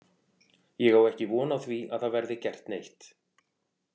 Ég á ekki von á því að það verði gert neitt.